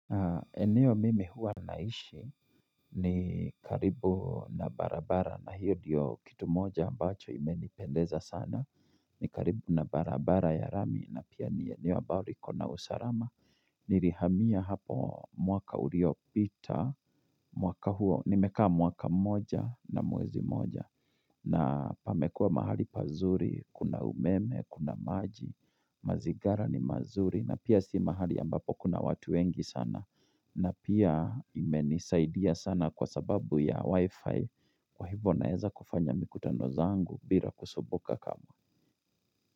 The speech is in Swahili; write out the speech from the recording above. Eneo mimi huwa naishi ni karibu na barabara na hiyo diyo kitu moja ambacho imenipendeza sana. Ni karibu na barabara ya rami na pia ni eneo abao liko na usarama. Nirihamia hapo mwaka uriopita mwaka huo nimekaa mwaka moja na mwezi moja. Na pamekua mahali pazuri kuna umeme kuna maji mazigara ni mazuri na pia si mahali ambapo kuna watu wengi sana. Na pia imenisaidia sana kwa sababu ya wifi Kwa hivo naeza kufanya mikutano zangu bila kusubuka kamwe.